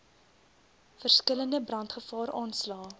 verskillende brandgevaar aanslae